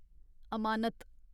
अमानत